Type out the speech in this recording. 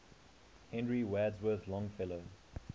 henry wadsworth longfellow